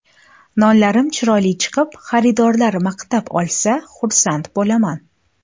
Nonlarim chiroyli chiqib, xaridorlar maqtab olsa, xursand bo‘laman.